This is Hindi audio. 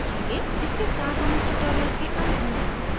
इसके साथ हम इस tutorial के अंत में आ गए हैं